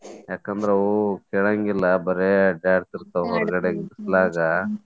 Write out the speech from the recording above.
ಯಾಕಂದ್ರ ಆವು ಕೇಳಂಗಿಲ್ಲಾ ಬರೇ ಬಿಸಲಾಗ.